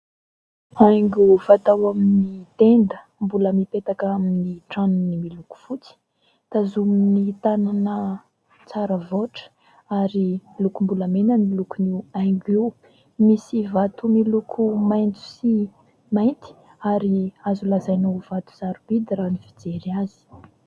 Haingo fatao amin'ny tenda mbola mipetaka amin'ny tranony miloko fotsy. Tazomin'ny tanana tsara voatra ary lokom-bolamena ny lokony haingo io. Misy vato miloko maitso sy mainty ary azo lazaina ho vato sarobidy raha ny fijery azy.